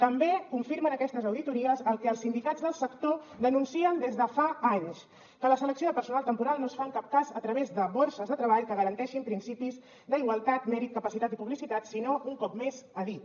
també confirmen aquestes auditories el que els sindicats del sector denuncien des de fa anys que la selecció de personal temporal no es fa en cap cas a través de borses de treball que garanteixin principis d’igualtat mèrit capacitat i publicitat sinó un cop més a dit